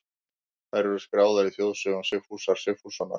Þær eru skráðar í þjóðsögum Sigfúsar Sigfússonar.